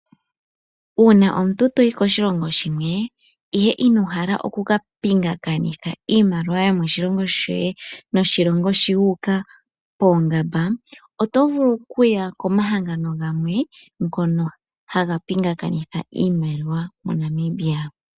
Uuna omuntu to yi koshilongo shimwe, ihe ino hala oku ka pingakanitha, iimaliwa yoshilongo shoye naambyoka yomoshongo wuuka poongamba, oto vulu oku ya komahangano gamwe ngono ha ha pingakanitha iimaliwa MoNamibia.